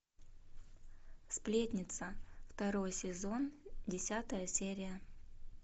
сплетница второй сезон десятая серия